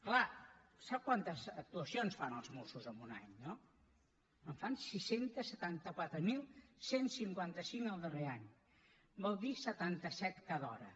clar sap quantes actuacions fan els mossos en un any no en fan sis cents i setanta quatre mil cent i cinquanta cinc el darrer any vol dir setanta set cada hora